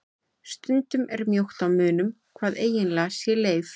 Stundum er mjótt á munum hvað eiginlega sé leif.